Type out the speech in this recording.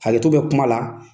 Hakɛto bɛ kuma la.